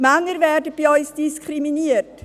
Die Männer werden bei uns diskriminiert: